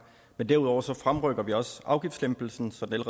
men derudover fremrykker vi også afgiftslempelsen så den